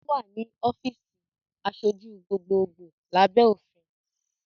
Ó wà ní ọ́fíìsì aṣojú gbogbogbo lábẹ́ òfin